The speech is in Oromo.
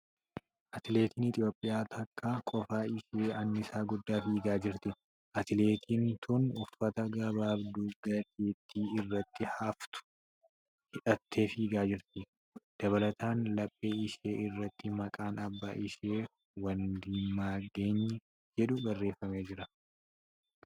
Atileetiin Itiyoophiyaa takka kophaa ishee annisaa guddaa fiigaa jirti. Atileetiin tun uffata gabaabduu gateettii irratti haftu hidhattee fiigaa jirti. Dabalataan laphee ishee irratti maqaan abbaa ishee ' Wandimaagany' jedhu barreeffamee jira.